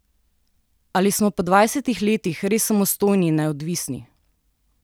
Ali smo po dvajsetih letih res samostojni in neodvisni?